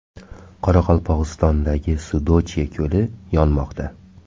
Qoraqalpog‘istondagi Sudochye ko‘li yonmoqda .